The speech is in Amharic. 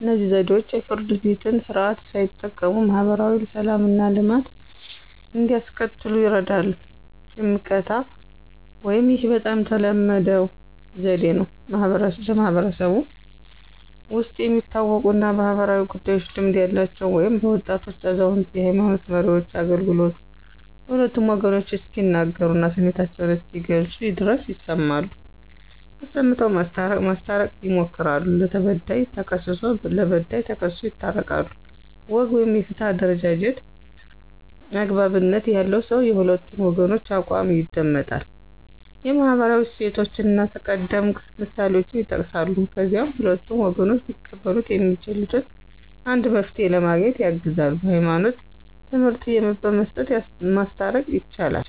እነዚህ ዘዴዎች የፍርድ ቤትን ስርዓት ሳይጠቀሙ ማህበራዊ ሰላምና ልማትን እንዲያስከትሉ ይርዳሉ። ሽምቀታ (፦ ይህ በጣም ተለመደው ዘዴ ነው። በማህበረሰቡ ውስጥ የሚታወቁና በማኅበራዊ ጉዳዮች ልምድ ያላቸው (በወጣቶች፣ አዛውንቶች፣ የሃይማኖት መሪዎች) አገልግሎቱ ሁለቱም ወገኖች እስኪናገሩና ስሜታቸውን እስኪገልጹ ድረስ ይሰማሉ፣ አሰምተው ማስታረቅ ማስታረቅ ይሞክራሉ። ለተበዳይ ተክስሶ ለበዳይ ተክሶ ይታረቃሉ። ወግ (የፍትህ አደረጃጀት)፦ )" አግባብነት ያለው ሰው የሁለቱን ወገኖች አቋም ይደመጣል፣ የማህበራዊ እሴቶችንና ቀደምት ምሳሌዎችን ይጠቅሳል፣ ከዚያም ሁለቱም ወገኖች ሊቀበሉት የሚችሉትን አንድ መፍትሄ ለማግኘት ያግዛል። የህይማኖት ትምህርት በመስጠት ማስታረቅ። ይቻላል